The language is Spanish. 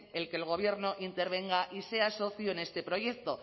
que el gobierno intervenga y sea socio en este proyecto